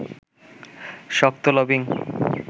শক্ত লবিং